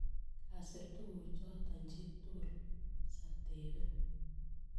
Kasir tukuchoto chi tugul, satebe.